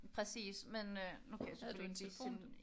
Præcis men nu kan jeg selvfølgelig ikke lige finde